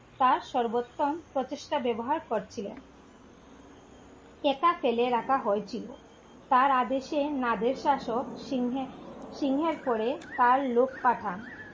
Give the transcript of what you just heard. তার সর্বোত্তম প্রতিষ্ঠা ব্যবহার করছিলেন, এটা ফেলে রাখা হয় ছিলো, তার আদেশে নদের শাসক সিংহে সিংহে পরে তার লোক পাঠান